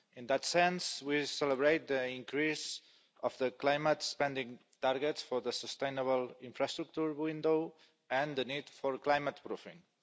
In that sense, we celebrate the increase of the climate spending targets for the sustainable infrastructure window and the need for climate proofing.